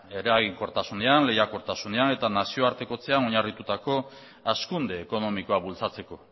eraginkortasunean lehiakortasunean eta nazioartekotzean oinarritutako hazkunde ekonomikoa bultzatzeko